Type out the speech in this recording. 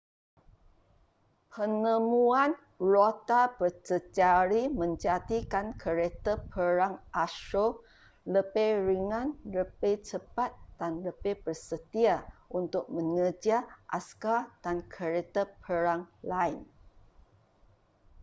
penemuan roda berjejari menjadikan kereta perang asyur lebih ringan lebih cepat dan lebih bersedia untuk mengejar askar dan kereta perang lain